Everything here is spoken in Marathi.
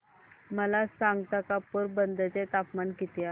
मला सांगता का पोरबंदर चे तापमान किती आहे